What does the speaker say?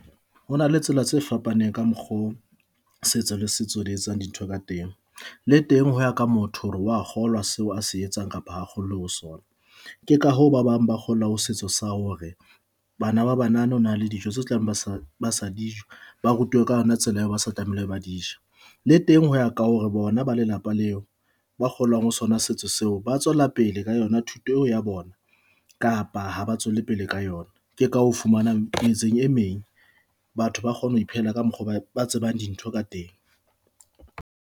Ho na le tsela tse fapaneng ka mokgo setso le setso di etsang dintho ka teng, le teng ho ya ka motho hore wa kgolwa seo a se etsang kapa ha a kgollwe ho sona. Ke ka ho ba bang ba kgollwa ho setso sa hore bana ba banana ho na le dijo tseo tse tlabeng ba sa ba sa dijo. Ba rutwe ka yona tsela eo ba se tlamehile ba dija le teng hoea ka hore bona ba lelapa leo ba ho sona setsha seo ba tswela pele pele ka yona thuto ya bona kapa ha ba tswele pele ka yona. Ke ka o fumanang metseng e meng batho ba kgone ho iphelela ka mokgo ba tsebang dintho ka teng.